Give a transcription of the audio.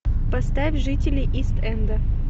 поставь жители ист энда